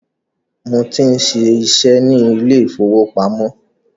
Mo tí ń ṣiṣẹ́ ni ilé ìfowópamọ́